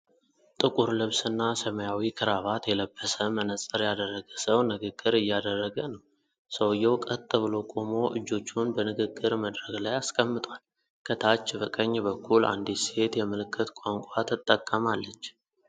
ጥቁር ልብስና ሰማያዊ ክራቫት የለበሰ መነጽር ያደረገ ሰው ንግግር እያደረገ ነው። ሰውዬው ቀጥ ብሎ ቆሞ እጆቹን በንግግር መድረክ ላይ አስቀምጧል። ከታች በቀኝ በኩል አንዲት ሴት የምልክት ቋንቋ ትጠቀማለች።